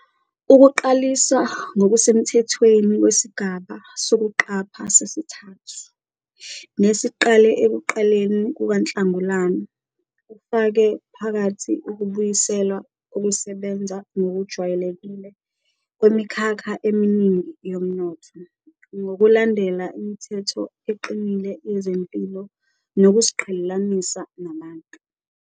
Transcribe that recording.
Ukuqaliswa ngokusemthethweni kwesigaba sokuqapha sesithathu, nesiqale ekuqaleni kukaNhlangulana, kufake phakathi ukubuyiselwa kokusebenza ngokujwayelekile kwemikhakha eminingi yomnotho, ngokulandela imithetho eqinile yezempilo nokuziqhelelanisa nabantu.